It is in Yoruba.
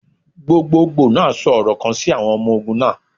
Gbogbogbo naa sọ ọrọ kan si awọn ọmọ ogun naa.